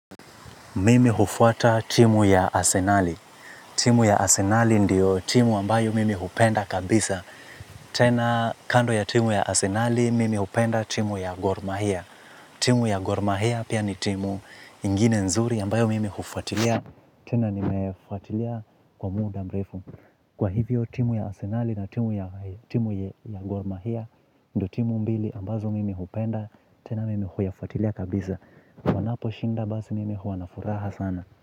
Mimi hufuata timu ya asenali. Timu ya asenali ndio timu ambayo mimi hupenda kabisa. Tena kando ya timu ya asenali, mimi hupenda timu ya gormahia. Timu ya gormahia pia ni timu ingine nzuri ambayo mimi hufuatilia. Tena nimefuatilia kwa muda mrefu. Kwa hivyo timu ya asenali na timu ya gormahia, ndio timu mbili ambazo mimi hupenda. Tena mimi huyafuatilia kabisa. Wanaposhinda basi mimi huwa na furaha sana.